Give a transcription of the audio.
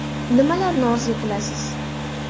– Nimani orzu qilasiz?